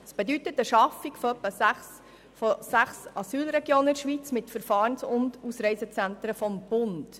Das bedeutet eine Schaffung von sechs Asylregionen in der Schweiz mit Verfahrens- und Ausreisezentren des Bundes.